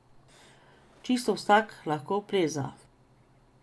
Čisto vsak lahko pleza.